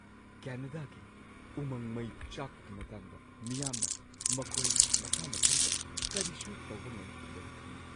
ꯀꯦꯅꯗꯥꯒꯤ ꯎꯃꯪ ꯃꯩ ꯆꯥꯛꯄꯒꯤ ꯃꯇꯥꯡꯗ ꯃꯤꯌꯥꯝꯅ ꯃꯈꯣꯏ ꯃꯁꯥ ꯃꯊꯟꯇ ꯀꯔꯤꯁꯨ ꯇꯧꯕ ꯉꯝꯈꯤꯗꯕ ꯊꯦꯡꯅꯩ꯫